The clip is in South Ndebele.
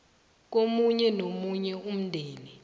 komunye nomunye umndeni